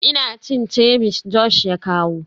Ina cin ceviche Josh ya kawo.